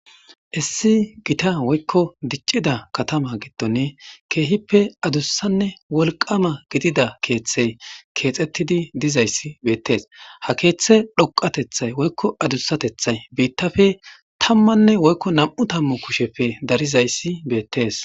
Issi gotta woykon dichida kattama gidoni kehippe adussane wolqama gidida kethey kexetidi dizzysi betes ha kethey dhoqatethi woykon adusatethiy bittappe tammane woykon nam'u tammu kusheppe darizaysi betes